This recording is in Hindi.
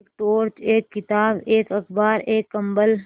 एक टॉर्च एक किताब एक अखबार एक कम्बल